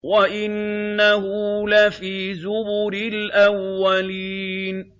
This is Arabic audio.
وَإِنَّهُ لَفِي زُبُرِ الْأَوَّلِينَ